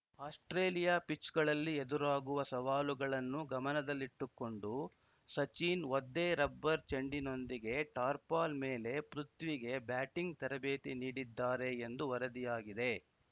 Australia ಪಿಚ್‌ಗಳಲ್ಲಿ ಎದುರಾಗುವ ಸವಾಲುಗಳನ್ನು ಗಮನದಲ್ಲಿಟ್ಟುಕೊಂಡು ಸಚಿನ್‌ ಒದ್ದೆ ರಬ್ಬರ್‌ ಚೆಂಡಿನೊಂದಿಗೆ ಟಾರ್ಪಲ್‌ ಮೇಲೆ ಪೃಥ್ವಿಗೆ ಬ್ಯಾಟಿಂಗ್‌ ತರಬೇತಿ ನೀಡಿದ್ದಾರೆ ಎಂದು ವರದಿಯಾಗಿದೆ